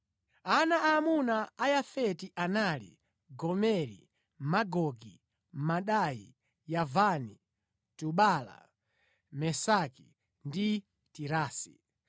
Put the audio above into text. Ana aamuna a Yafeti anali: Gomeri, Magogi, Madai, Yavani, Tubala, Mesaki ndi Tirasi.